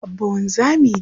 Abba wanzami ne.